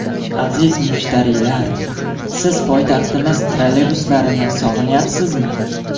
Aziz mushtariylar, siz poytaxtimiz trolleybuslarini sog‘inyapsizmi?